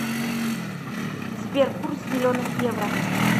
сбер курс зеленых евро